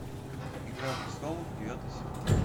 игра престолов девятый сезон